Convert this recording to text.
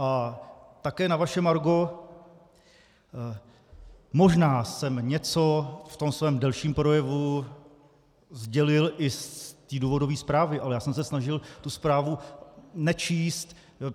A také na vaše margo, možná jsem něco v tom svém delším projevu sdělil i z té důvodové zprávy, ale já jsem se snažil tu zprávu nečíst.